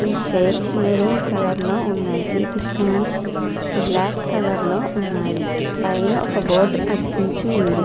ఈ chairs maroon colour లో ఉన్నాయి. వీటి స్టాండ్స్ బ్లాక్ కలర్ లో ఉన్నాయి. పైన ఒక బోర్డు అతికించి ఉంది.